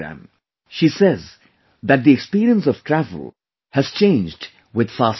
She says that the experience of travel has changed with 'FASTag'